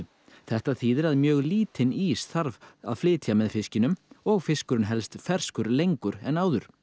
þetta þýðir að mjög lítinn ís þarf að flytja með fiskinum og fiskurinn helst ferskur lengur en áður